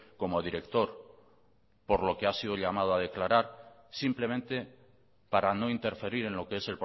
como director por lo que ha sido llamado a declarar simplemente para no interferir en lo que es